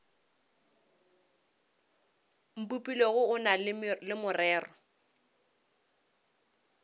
mpopilego o na le morero